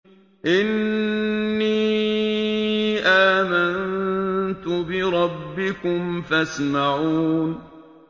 إِنِّي آمَنتُ بِرَبِّكُمْ فَاسْمَعُونِ